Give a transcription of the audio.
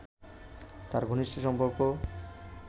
তাঁর ঘনিষ্ঠ সম্পর্ক